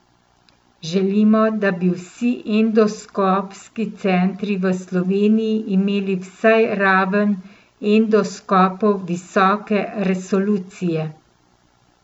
Želimo, da bi vsi endoskopski centri v Sloveniji imeli vsaj raven endoskopov visoke resolucije.